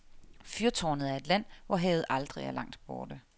Fyrtårnet er et land, hvor havet aldrig er langt borte.